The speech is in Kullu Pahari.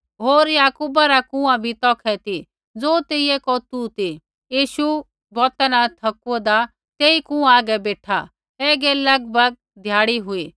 होर याकूबा रा कुँआ भी तौखै ती ज़ो तेइयै कोतू ती यीशु बौता रा थकू होन्दा तेई कुँऐ हागै ऐण्ढै बेठा ऐ गैल लगभग धयाडी हुई